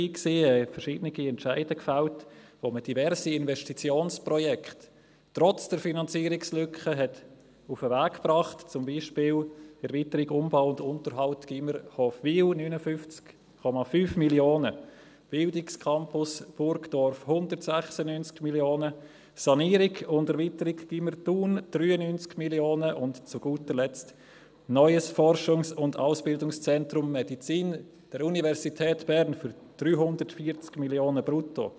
Man fällte verschiedene Entscheide, mit denen man diverse Investitionsprojekte trotz der Finanzierungslücke auf den Weg brachte, zum Beispiel Erweiterung, Umbau und Unterhalt Gymnasium Hofwil, 59,5 Mio. Franken, Bildungscampus Burgdorf, 196 Mio. Franken, Sanierung und Erweiterung Gymnasium Thun, 93 Mio. Franken, und zu guter Letzt das neue Forschungs- und Ausbildungszentrum Medizin der Universität Bern für 340 Mio. Franken brutto.